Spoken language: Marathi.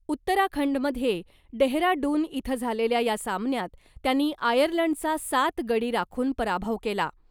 उत्तराखंडमध्ये डेहराडून इथं झालेल्या या सामन्यात त्यांनी आयर्लंडचा सात गडी राखून पराभव केला .